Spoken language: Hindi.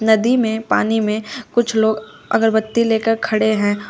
नदी में पानी में कुछ लोग अगरबत्ती लेकर खड़े हैं।